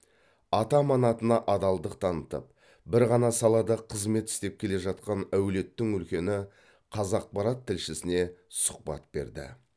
ата аманатына адалдық танытып бір ғана салада қызмет істеп келе жатқан әулеттің үлкені қазақпарат тілшісіне сұхбат берді